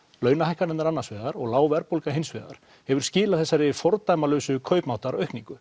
launahækkanirnar annars vegar og lág verðbólga hins vegar hefur skilað þessari fordæmalausu kaupmáttaraukningu